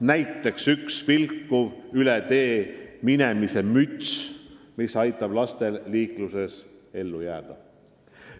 Näiteks vilkuv üle tee minemise müts, mis aitab lastel liikluses ellu jääda.